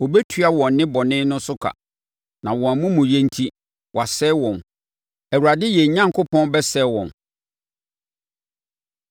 Ɔbɛtua wɔn nnebɔne no so ka na wɔn amumuyɛ enti, wasɛe wɔn; Awurade yɛn Onyankopɔn bɛsɛe wɔn.